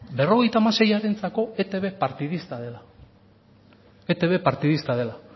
berrogeita hamaseiarentzako etb partidista dela etb partidista dela